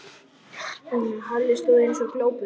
Halli stóð eins og glópur.